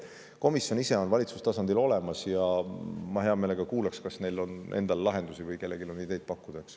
Komisjon ise on valitsustasandil olemas ja ma hea meelega kuulaksin, kas kellelgi on lahendusi või ideid pakkuda.